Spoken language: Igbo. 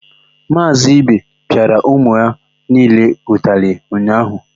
Maazị ibe pịara ụmụ ya niile ụtalị ụnyaahụ.